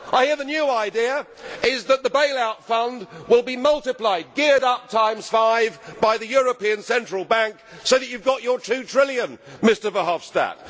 I hear that the new idea is that the bail out fund will be multiplied, geared up times five, by the European Central Bank so that you have got your two trillion, Mr Verhofstadt.